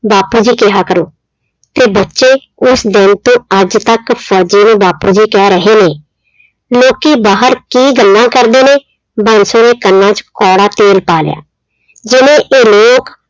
ਬਾਪੂ ਜੀ ਕਿਹਾ ਕਰੋ ਤੇ ਬੱਚੇ ਉਸ ਦਿਨ ਤੋਂ ਅੱਜ ਤੱਕ ਫ਼ੋਜ਼ੀ ਨੂੰ ਬਾਪੂ ਜੀ ਕਹਿ ਰਹੇ ਨੇ, ਲੋਕੀ ਬਾਹਰ ਕੀ ਗੱਲਾਂ ਕਰਦੇ ਨੇ ਬਾਂਸੋ ਨੇ ਕੰਨਾ 'ਚ ਕੌੜਾ ਤੇਲ ਪਾ ਲਿਆ, ਜਿਵੇਂ ਇਹ ਲੋਕ